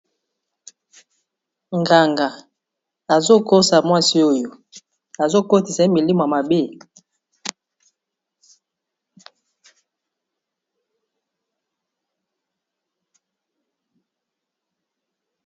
nganga azokosa mwasi oyo azokotisa ye milimu mabe